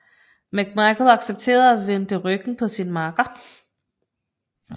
McMichael accepterede og vendte ryggen på sin makker